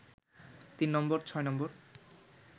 তিন নম্বর, ছয় নম্বর